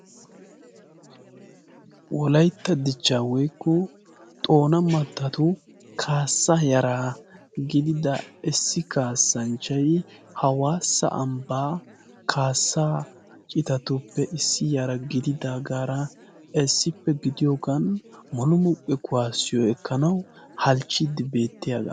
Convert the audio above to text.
wolaytta dichcha woykko xoona mattatu kaassa yara gidida issi kaassanchchayi hawaassa ambbaa kaassaa citatuppe issi yara gididaagaara issippe gidiyoogan monumuqqe kuwaassiyo ekkanawu halchchiiddi beettiyaagaa